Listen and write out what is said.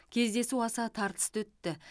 кездесу аса тартысты өтті